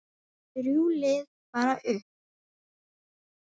Þrjú lið fara upp.